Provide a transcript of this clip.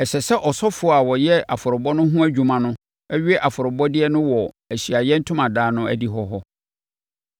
Ɛsɛ sɛ ɔsɔfoɔ a ɔyɛ afɔrebɔ no ho adwuma no we afɔrebɔdeɛ no wɔ Ahyiaeɛ Ntomadan no adihɔ hɔ.